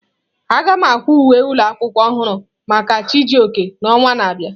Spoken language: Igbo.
Aga m akwa uwe ụlọ akwụkwọ ọhụrụ maka Chijioke n'ọnwa na-abịa.